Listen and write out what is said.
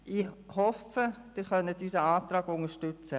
Ich hoffe, Sie können unseren Antrag unterstützen.